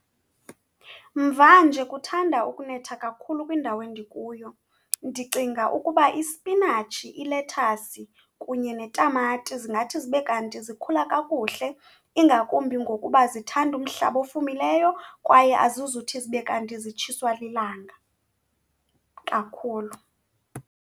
Mvanje kuthanda ukunetha kakhulu kwindawo endikuyo, ndicinga ukuba ispinatshi, ilethasi kunye netamati zingathi zibe kanti zikhula kakuhle, ingakumbi ngokuba zithanda umhlaba ofumileyo kwaye azizuthi zibe kanti zitshiswa lilanga kakhulu.